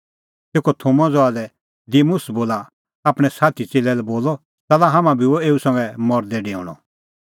तेखअ थोमा ज़हा लै दिमुस बोला आपणैं साथी च़ेल्लै लै बोलअ च़ाल्ला हाम्हां बी हुअ एऊ संघै मरदै डेऊणअ